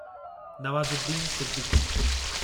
Nawazuddin Siddiqui